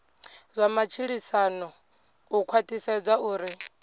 zwa matshilisano u khwathisedza uri